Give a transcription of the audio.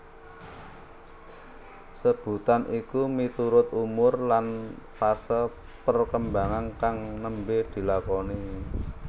Sebutan iku miturut umur lan fase perkembangan kang nembe dilakoni